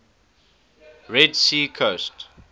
red sea coast